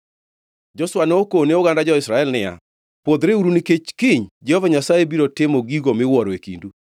Joshua nokone oganda Israel niya, “Pwodhreuru, nikech kiny Jehova Nyasaye biro timo gigo miwuoro e kindu.”